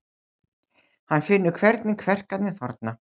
Hann finnur hvernig kverkarnar þorna.